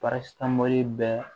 parasitamɔli bɛɛ